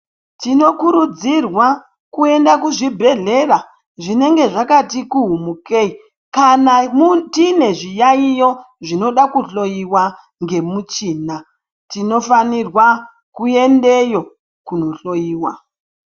Tinokurudzirwa kuenda kuzvibhedhlera zvinenge zvakati kuhumukei. Kana tine zviyaiyo zvinoda kuhoiwa ngemuchina, tinofanirwa kuendeyo kunohloiwa.